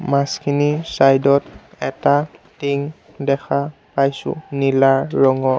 মাছখিনিৰ side ত এটা thing দেখা পাইছোঁ নীলা ৰঙৰ।